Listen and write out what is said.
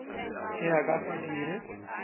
ge a ka se dire